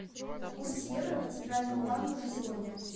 курс евро по центральному банку на сегодня